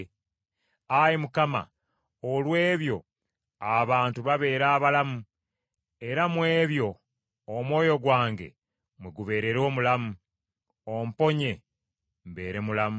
Ayi Mukama, olw’ebyo, abantu babeera abalamu, era mu ebyo omwoyo gwange mwe gubeerera omulamu. Omponye, mbeere mulamu.